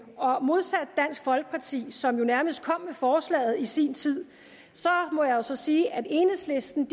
og modsat dansk folkeparti som jo nærmest kom med forslaget i sin tid må jeg så sige at enhedslisten